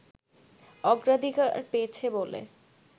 অগ্রাধিকার পেয়েছে বলে